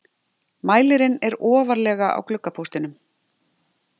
Mælirinn er ofarlega á gluggapóstinum.